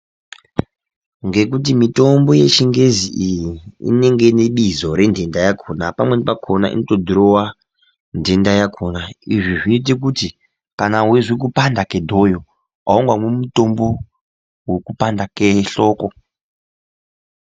Ngekuti mitombo yechingezi iyi inenge inebixo renhends yakona pamweni pamweni pakona onotodhirowa nhenda yakona izvi zvoita kuti weinzwa kupanda kwedhoyo aungamei mitombo yekupanda kwehloko